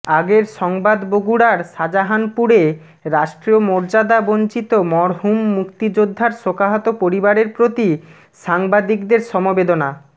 আগের সংবাদ বগুড়ার শাজাহানপুরে রাষ্ট্রিয় মর্যাদা বঞ্চিত মরহুম মুক্তিযোদ্ধার শোকাহত পরিবারের প্রতি সাংবাদিকদের সমবেদনা